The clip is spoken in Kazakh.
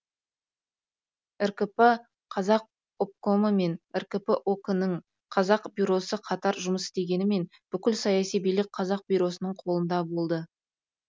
ркп қазақ обкомы мен ркп ок нің қазақ бюросы қатар жұмыс істегенімен бүкіл саяси билік қазақ бюросының қолында болды